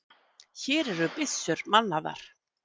Hér eru byssur mannaðar!